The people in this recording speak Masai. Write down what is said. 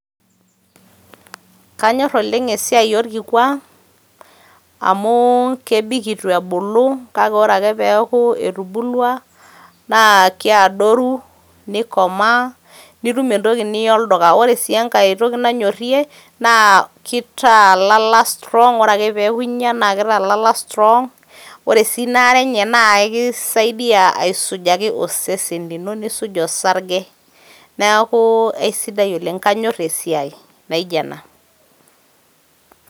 Kanyor oleng' esiai orkikua, amu kebik itu ebulu kake ore ake peeku etubulua, na keadoru, nikomaa, nitum entoki niya olduka. Ore si enkae toki nanyorrie, naa kitaa lala strong. Ore ake peeku inya, na kitaa ilala strong. Ore si inaare enye, na kisaidia aisujaki osesen lino, nisuj osarge. Neeku aisidai oleng',kanyor esiai naijo ena.